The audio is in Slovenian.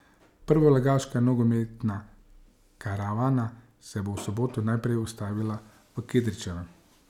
Prvoligaška nogometna karavana se bo v soboto najprej ustavila v Kidričevem.